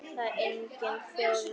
En enginn þjónaði honum.